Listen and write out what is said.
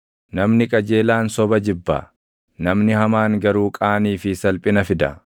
Namni qajeelaan soba jibba; namni hamaan garuu qaanii fi salphina fida.